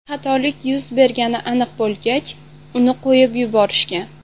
Xatolik yuz bergani aniq bo‘lgach, uni qo‘yib yuborishgan.